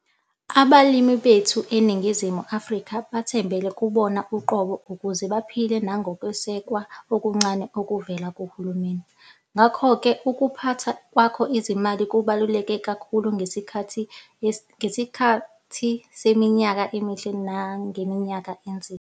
Abalimi bethu eNingizimu Afrika bathembele kubona uqobo ukuze baphile nangokwesekwa okuncane okuvela kuhulumeni. Ngakho ke ukuphatha kwakho izimali kubaluleke kakhulu ngesikhathi seminyaka emihle nangeminyaka enzima.